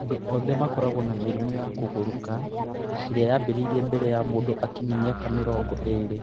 Andũ othe makoragwo na mĩrimũ ya kũgũrũrũka ĩrĩa yambĩrĩirie mbere ya mũndũ akinyia mĩaka mĩrongo ĩĩrĩ.